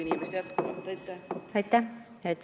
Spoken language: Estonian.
Aitäh!